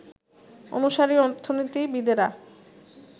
অনুসারী অর্থনীতিবিদেরা